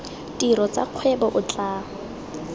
tiro tsa kgwebo o tla